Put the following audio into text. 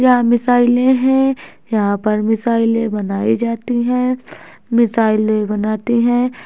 यहाँ मिसाइलें है यहाँ पर मिसाइलें बनाई जाती है मिसाइलें बनाते है।